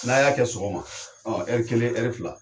N'a y'a kɛ sɔgɔma ɔ kelen fila.